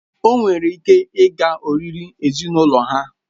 O nwere ike ịga oriri ezinụlọ ha